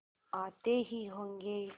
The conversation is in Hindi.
आते ही होंगे